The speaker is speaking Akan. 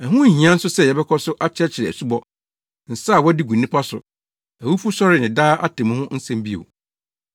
Ɛho nhia nso sɛ yɛbɛkɔ so akyerɛkyerɛ asubɔ, nsa a wɔde gu nnipa so, awufosɔre ne daa atemmu ho nsɛm bio.